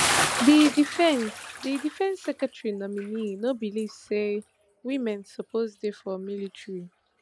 di defence di defence secretary nominee no believe say women suppose dey for military